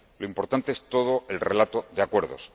Lo importante es todo el relato de acuerdos.